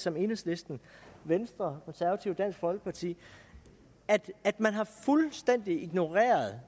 som enhedslisten venstre konservative og dansk folkeparti at at man fuldstændig har ignoreret